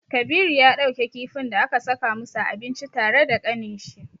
Kabiru ya ɗauke kifin da aka saka musu a abinci tare da kaninshi.